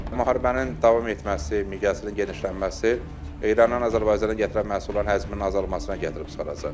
Müharibənin davam etməsi, miqyasının genişlənməsi İrandan Azərbaycana gətirilən məhsulların həcminin azalmasına gətirib çıxaracaq.